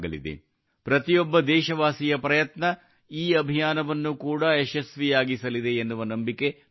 ಪ್ರತಿಯೊಬ್ಬ ದೇಶವಾಸಿಯ ಪ್ರಯತ್ನ ಈ ಅಭಿಯಾನವನ್ನು ಕೂಡಾ ಯಶಸ್ವಿಯಾಗಿಸಲಿದೆ ಎನ್ನುವ ನಂಬಿಕೆ ನನಗಿದೆ